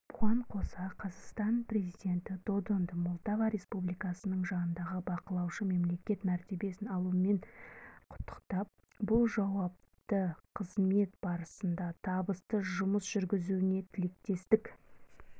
бұған қоса қазақстан президенті додонды молдова республикасының жанындағы бақылаушы мемлекет мәртебесін алуымен құттықтап бұл жауапты қызмет барысында табысты жұмыс жүргізуіне тілектестік